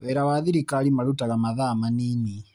Wĩra wa thirikari marutaga mathaa manini